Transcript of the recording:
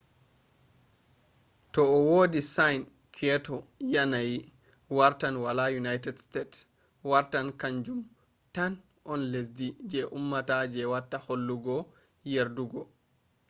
to o wadi sign kyoto yanayi wartan wala united state wartan kam jun tan on lesde je ummata je watta hollugo yerdugo